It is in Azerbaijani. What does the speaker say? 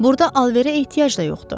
Burda alverə ehtiyac da yoxdur.